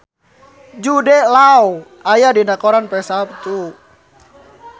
Jude Law aya dina koran poe Saptu